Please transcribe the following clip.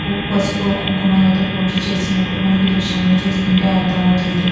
పసుపు కుంకుమతో పూజలు చేసినట్టుగా మనకి ఈ దృశ్యం లో చూస్తుంటే అర్దమవుతుంది.